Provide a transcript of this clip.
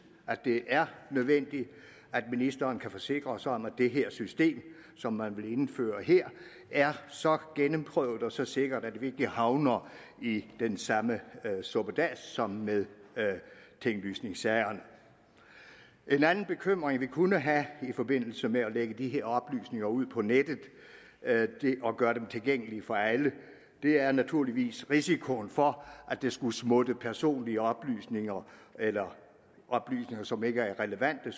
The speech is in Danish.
at det er nødvendigt at ministeren kan forsikre os om at det her system som man vil indføre her er så gennemprøvet og så sikkert at vi ikke havner i den samme suppedas som med tinglysningssagerne en anden bekymring vi kunne have i forbindelse med at lægge de her oplysninger ud på nettet og gøre dem tilgængelige for alle er naturligvis risikoen for at der skulle smutte personlige oplysninger eller oplysninger som ikke er relevante